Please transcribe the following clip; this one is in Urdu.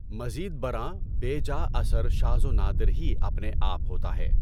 مزید برآں، بے جا اثر شاذ و نادر ہی اپنے آپ ہوتا ہے۔